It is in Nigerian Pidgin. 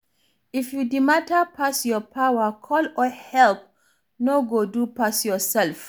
If di matter pass your power, call for help, no go do pass yourself